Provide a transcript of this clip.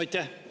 Aitäh!